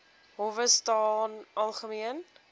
howe staan algemeen